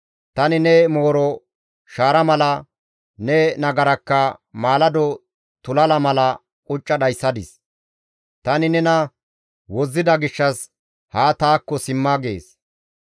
Tani ne mooro shaara mala, ne nagarakka maalado tulala mala qucca dhayssadis; tani nena wozzida gishshas ha taakko simma› » gees.